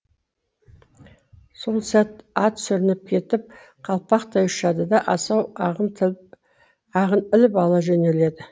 сол сәт ат сүрініп кетіп қалпақтай ұшады да асау ағын іліп ала жөнеледі